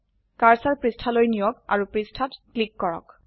cursor পৃষ্ঠালৈ নিয়ক আৰু পৃষ্ঠাত ক্লিক কৰক